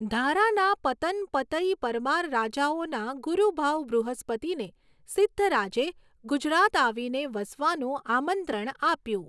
ધારાના પતન પતઈ પરમાર રાજાઓના ગુરૂ ભાવ બૃહસ્પતિને સિદ્ધરાજે ગુજરાત આવીને વસવાનું આમંત્રણ આપ્યું.